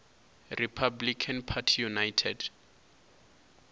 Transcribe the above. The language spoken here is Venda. republican party united